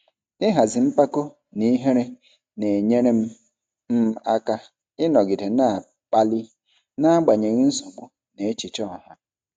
Ịhazi mpako na ihere na-enyere m m aka ịnọgide na-akpali n'agbanyeghị nsogbu na echiche ọha.